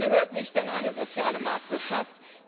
Das gehört nicht in eine soziale Marktwirtschaft.